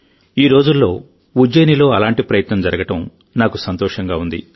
ఈ రోజుల్లో ఉజ్జయినిలో అలాంటి ప్రయత్నం జరగడం నాకు సంతోషంగా ఉంది